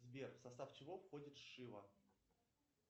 сбер в состав чего входит шива